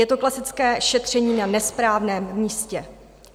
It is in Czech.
Je to klasické šetření na nesprávném místě.